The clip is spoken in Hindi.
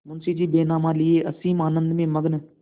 मुंशीजी बैनामा लिये असीम आनंद में मग्न